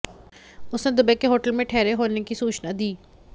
उसने दुबे के होटल में ठहरे होने की सूचना दी